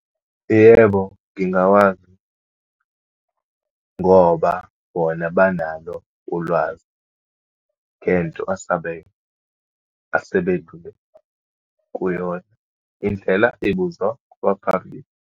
Yebo, ngingawazi ngoba bona banalo ulwazi ngento asebedlule kuyona. Indlela ibuzwa kwabaphambili.